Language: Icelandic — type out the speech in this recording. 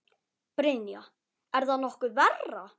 Brynja: Er það nokkuð verra?